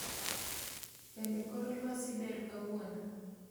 Bende kor lwasi ber kawuono